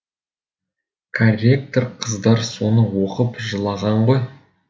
корректор қыздар соны оқып жылаған ғой